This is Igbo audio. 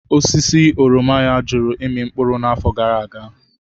Osisi oroma ya jụrụ ịmị mkpụrụ n'afọ gara aga.